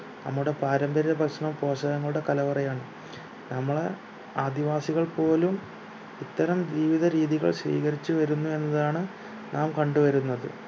നമ്മുടെ പാരമ്പര്യ ഭക്ഷണം പോഷകങ്ങളുടെ കലവറയാണ് നമ്മളെ ആദിവാസികൾ പോലും ഇത്തരം ജീവിത രീതികൾ സ്വീകരിച്ചു വരുന്നു എന്നതാണ് നാം കണ്ടു വരുന്നത്